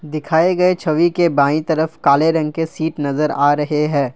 दिखाए गए छवि के बाईं तरफ काले रंग के सीट नजर आ रहे हैं।